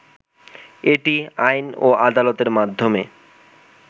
এটি আইন ও আদালতের মাধ্যমে